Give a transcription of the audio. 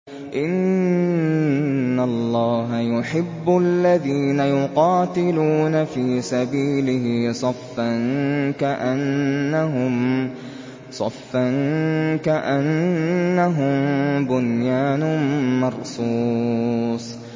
إِنَّ اللَّهَ يُحِبُّ الَّذِينَ يُقَاتِلُونَ فِي سَبِيلِهِ صَفًّا كَأَنَّهُم بُنْيَانٌ مَّرْصُوصٌ